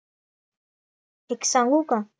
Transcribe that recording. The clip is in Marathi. एक सांगू का?